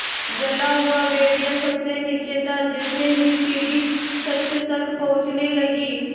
जला हुआ भेड़िया सबसे नीचे था जैसे ही सीढ़ी छत तक पहुँचने लगी